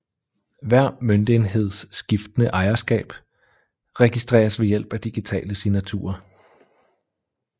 Hver møntenheds skiftende ejerskab registreres ved hjælp af digitale signaturer